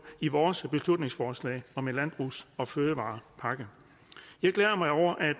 i vores beslutningsforslag om en landbrugs og fødevarepakke jeg glæder mig over at